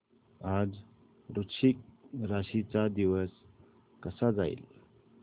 आज वृश्चिक राशी चा दिवस कसा जाईल